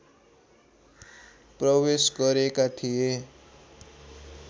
प्रवेश गरेका थिए